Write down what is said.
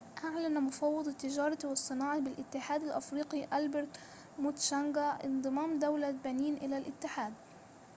أعلن مفوض التجارة والصناعة بالاتحاد الافريقى ألبرت موتشانغا انضمام دولة بنين إلى الاتحاد